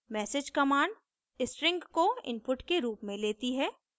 message command string को input के रूप में लेती है